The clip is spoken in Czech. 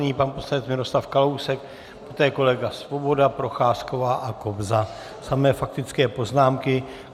Nyní pan poslanec Miroslav Kalousek, poté kolega Svoboda, Procházková a Kobza, samé faktické poznámky.